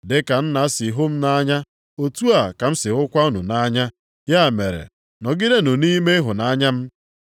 “Dị ka Nna sị hụ m nʼanya, otu a ka m sị hụkwa unu nʼanya. Ya mere, nọgidenụ nʼime ịhụnanya m.